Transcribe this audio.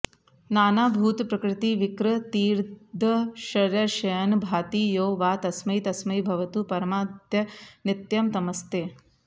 नानाभूतप्रकृतिविकृतीर्दर्शयन् भाति यो वा तस्मै तस्मै भवतु परमादित्य नित्यं नमस्ते